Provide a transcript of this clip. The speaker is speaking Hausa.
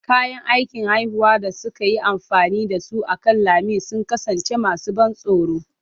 Kayan aikin haifuwar da suka yi amfani da su akan lami sun kasance masu ban tsoro.